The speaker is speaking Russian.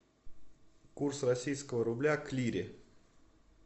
курс российского рубля к лире